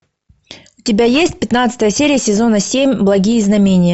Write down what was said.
у тебя есть пятнадцатая серия сезона семь благие знамения